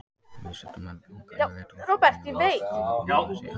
Vísindamenn ganga yfirleitt út frá því að orsakalögmálið sé algilt.